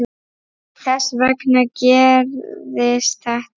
Þess vegna gerðist þetta.